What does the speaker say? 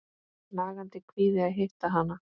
Nagandi kvíði að hitta hana.